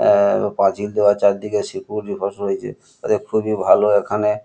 আ আ পাঁচিল দেওয়া চারিদিকে সিকিউরিটি বসে রয়েছে খুবই ভালো এখানে ।